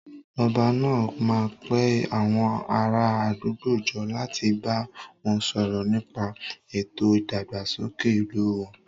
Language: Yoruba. Ọba náà máa pe àwọn ará àdúgbò jọ láti bá wọn sọ̀rọ̀ nípa ètò ìdàgbàsókè ìlú wọn